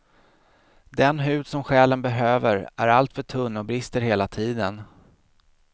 Den hud som själen behöver är alltför tunn och brister hela tiden.